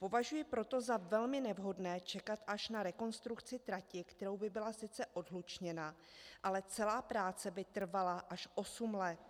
Považuji proto za velmi nevhodné čekat až na rekonstrukci trati, kterou by byla sice odhlučněna, ale celá práce by trvala až osm let.